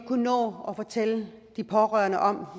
nå at fortælle de pårørende om